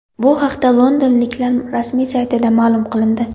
Bu haqda londonliklar rasmiy saytida ma’lum qilindi.